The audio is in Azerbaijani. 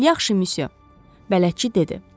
"Yaxşı, müsyo," bələdçi dedi.